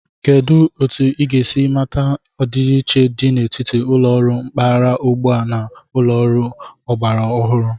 Kedu otu ị ga-esi mata ọdịiche dị n'etiti ụlọ ọrụ mpaghara ugbua a na ụlọ ọrụ ọgbara ọhụrụ?